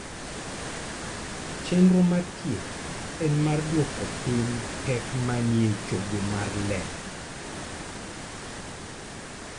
Chenro mar thieth en mar duoko piny pek manie chogo mar lep..